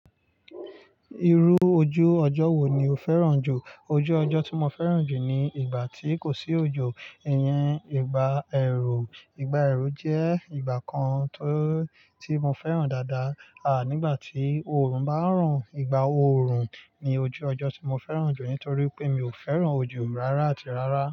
Irú ojú ọjọ́ wo ni o fẹ́ràn jù? Ojú ọjọ́ tí mo fẹ́ràn jù ni ìgbà tí kò sí òjò, ìyẹn ìgbà ẹ̀rù. Ìgbà ẹ̀rù jẹ́ ìgbà kan tó, tí mo fẹ́ràn dáadáa. À nígbà tí òòrùn bá ń ran, ìgbà òòrùn ni ojú ọjọ́ tí mo fẹ́ràn jù nítorí pé mi ò fẹ́ràn ojo rárá àti rárá.